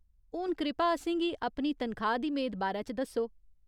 हून कृपा असेंगी अपनी तनखाह् दी मेद बारै च दस्सो।